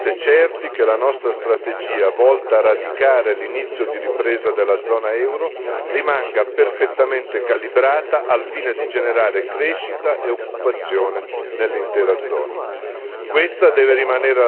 Dobbiamo essere assolutamente certi che la nostra strategia volta a radicare l'inizio di ripresa della zona euro rimanga perfettamente calibrata al fine di generare crescita e occupazione nell'intera zona.